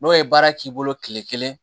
N'o ye baara k'i bolo kile kelen